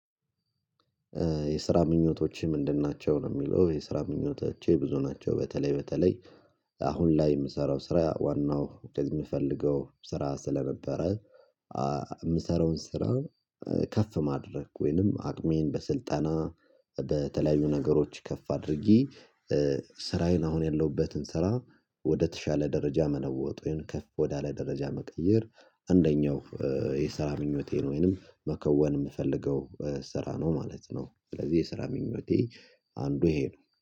የስራ ምኞቶችህ ምንድን ናቸው? ለሚለው የስራ ምኞቶቼ ብዙ ናቸው በተለይ በተለይ አሁን ላይ የምሰራው ስራ ዋናው የምፈልገው ስራ ስለነበረ። የምሰራውን ስራ ከፍ ማድረግ ወይንም አቅሜን በስልጠና በተለያዩ ነገሮች ከፍ አድርጌ። ስራዬን አሁን ያለሁበትን ስራ ወደተሻለ ደረጃ መለወጥ ከፍ ወዳለ ደረጃ መቀየር። አንደኛው የስራ ምኞቴን ወይንም መከወን የምፈልገው ስራ ነው ማለት ነው። ስለዚህ የስራ ምኞቴ አንዱ ይሄ ነው